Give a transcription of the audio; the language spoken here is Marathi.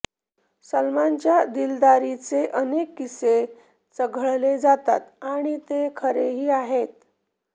सलमानच्या दिलदारीचे अनेक किस्से चघळले जातात आणि ते खरेही आहेत